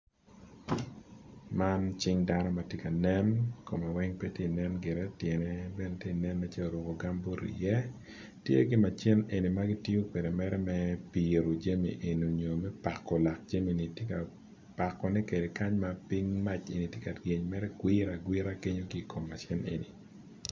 Man cing dano matye ka nen kome weng petye kanen gire tyene bene tye nen nen calo oruko gambut i ye tye ki macin magitiyo kwede mere me yibo jami eni onyo pako lak jami eni tye ka bako ne kwede pa ping mac bene tye ka ryeny mere gwira agwira kenyo ki kom machine eni.